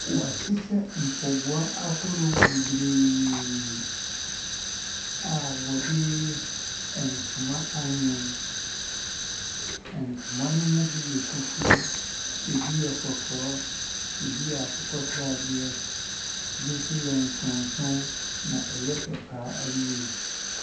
Wɔahyehyɛ mpaboa ahodoɔ bebree a wɔde ntoma awene. Ntoma ne bi yɛ fufu, ɛbi yɛ kɔkɔɔ, ɛbi yɛ akokɔsradeɛ ɛbi nso yɛ nsonson na ɛyɛ fɛ pa ara yie.